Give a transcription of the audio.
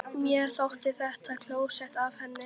Mér þótti þetta klókt af henni.